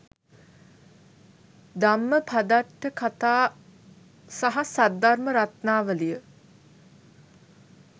ධම්මපදට්ඨ කථා සහ සද්ධර්මරත්නාවලිය